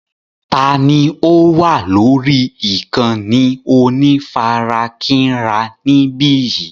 Ta ni ó wà lórí ìkànnì onífarakínra níbí yìí?